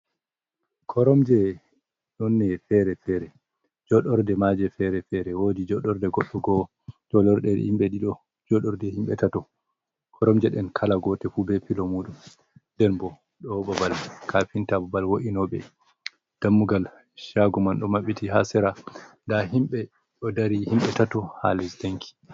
Koromje ɗonne fere-fere, joɗorɗe maje fere fere wodi joɗorɗe goɗɗo go joɗorɗe himbe ɗiɗo joɗorɗe himbe tato koromje & ɗen kala gote fu be pilomudum nden bo ɗoo babal kafinta, babal wo’ino ɓe, dammugal chagu man do mabbiti, ha tsera da himbe ɗo dari, himɓe tato ha les danki.